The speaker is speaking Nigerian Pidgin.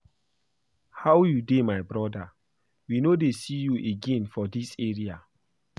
How you dey my broda? We no dey see you again for dis area.